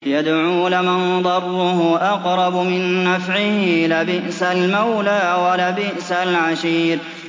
يَدْعُو لَمَن ضَرُّهُ أَقْرَبُ مِن نَّفْعِهِ ۚ لَبِئْسَ الْمَوْلَىٰ وَلَبِئْسَ الْعَشِيرُ